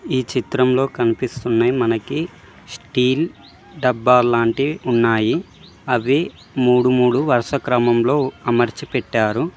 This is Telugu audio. ఈ చిత్రంలో కనిపిస్తున్నాయి మనకి స్టీల్ డబ్బాలు లాంటి ఉన్నాయి అవి మూడు మూడు వరుస క్రమంలో అమర్చి పెట్టారు.